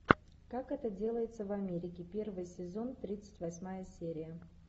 как это делается в америке первый сезон тридцать восьмая серия